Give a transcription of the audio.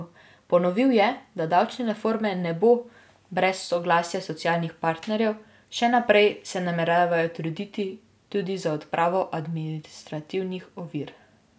Ponovil je, da davčne reforme ne bo brez soglasja socialnih partnerjev, še naprej se nameravajo truditi tudi za odpravo administrativnih ovir.